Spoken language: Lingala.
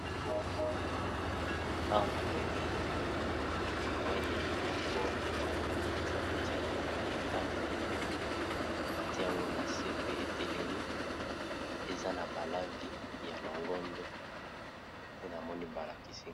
awa namoni kamwa nyama moko ezalaka na kati ya banzete pe na bandako bati yango na se pe etelemi eza na balangi ya longondo nde namoni balakisi